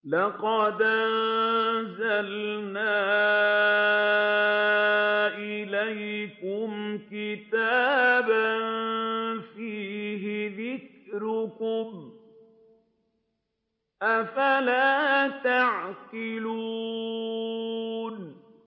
لَقَدْ أَنزَلْنَا إِلَيْكُمْ كِتَابًا فِيهِ ذِكْرُكُمْ ۖ أَفَلَا تَعْقِلُونَ